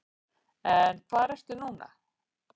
En hvar ertu nú?